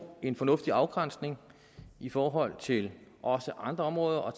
en fornuftig afgrænsning i forhold til også andre områder og